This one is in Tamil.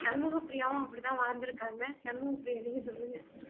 சண்முக பிரியாவும் அப்படித்தான் வளர்ந்திருக்காங்க சண்முக பிரியா நீங்க சொல்லுங்க